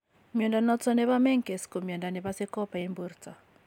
Mnyondo noton nebo Menkes ko mnyondo nebose copper en borto